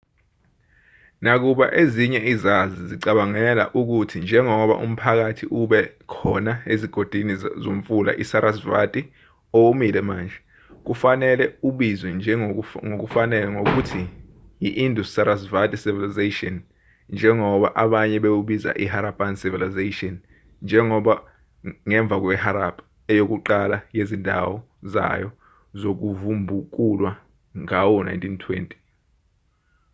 nakuba ezinye izazi zicabangela ukuthi njengoba umphakathi ube khona ezigodini zomfula isarasvati owomile manje kufanele ubizwe ngokufanele ngokuthi i-indus-sarasvati civilization njengoba abanye bewubiza iharappan civilization ngemva kweharappa eyokuqala yezindawo zayo zokuvubukulwa ngawo-1920